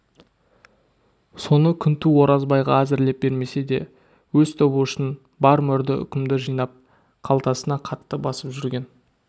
соны күнту оразбайға әзірлеп бермесе де өз тобы үшін бар мөрді үкімді жинап қалтасына қатты басып жүрген